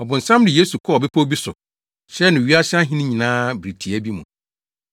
Ɔbonsam de Yesu kɔɔ bepɔw bi so kyerɛɛ no wiase ahenni nyinaa bere tiaa bi mu.